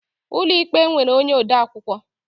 Ụlọ ikpe nwere onye odeakwụkwọ